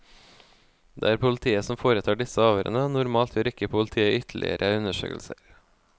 Det er politiet som foretar disse avhørene, og normalt gjør ikke politiet ytterligere undersøkelser.